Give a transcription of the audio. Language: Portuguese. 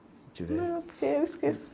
Se tiver...ão, porque eu esqueço.